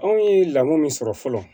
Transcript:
Anw ye lako min sɔrɔ fɔlɔ